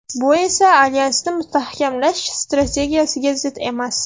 Bu esa alyansni mustahkamlash strategiyasiga zid emas.